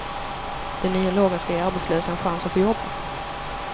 Den nya lagen ska ge arbetslösa en chans att få jobba.